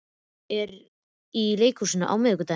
Áskell, hvaða sýningar eru í leikhúsinu á miðvikudaginn?